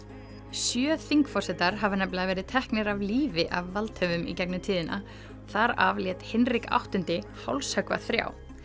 sjö þingforsetar hafa nefninlega verið teknir af lífi af valdhöfum í gegnum tíðina þar af lét Hinrik áttundi hálshöggva þrjá